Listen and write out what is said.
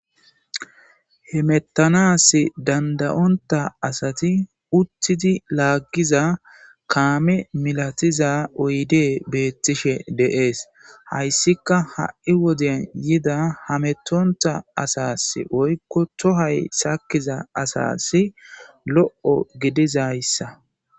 hemettanas dandayonta asati uttidi laaggiza kaame milatiza oyde beettishe deees hayssika ha7i woden yida hametonta asas oykko tohay sakkiza asasi lo7o gidizayssa